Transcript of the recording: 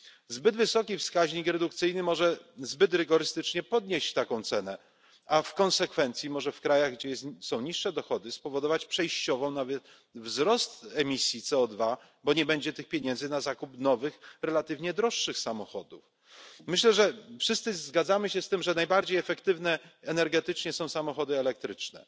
Zbyt wysoki wskaźnik redukcyjny może zbyt rygorystycznie podnieść taką cenę, a w konsekwencji może w krajach, gdzie są niższe dochody, spowodować przejściowo nawet wzrost emisji CO2, bo nie będzie pieniędzy na zakup nowych, relatywnie droższych samochodów. Myślę, że wszyscy zgadzamy się z tym, że najbardziej efektywne energetycznie są samochody elektryczne.